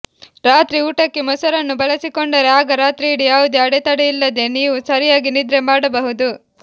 ರಾತ್ರಿ ಊಟಕ್ಕೆ ಮೊಸರನ್ನು ಬಳಸಿಕೊಂಡರೆ ಆಗ ರಾತ್ರಿಯಿಡಿ ಯಾವುದೇ ಅಡೆತಡೆಯಿಲ್ಲದೆ ನೀವು ಸರಿಯಾಗಿ ನಿದ್ರೆ ಮಾಡಬಹುದು